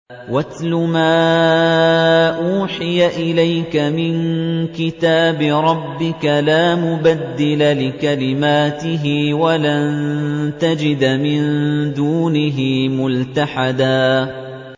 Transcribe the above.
وَاتْلُ مَا أُوحِيَ إِلَيْكَ مِن كِتَابِ رَبِّكَ ۖ لَا مُبَدِّلَ لِكَلِمَاتِهِ وَلَن تَجِدَ مِن دُونِهِ مُلْتَحَدًا